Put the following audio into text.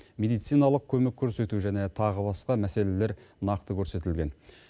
медициналық көмек көрсету және тағы басқа мәселелер нақты көрсетілген